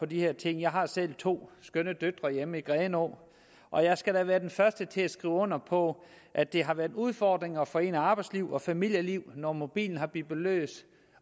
de her ting jeg har selv to skønne døtre hjemme i grenå og jeg skal da være den første til at skrive under på at det har været en udfordring at forene arbejdsliv og familieliv når mobilen bipper løs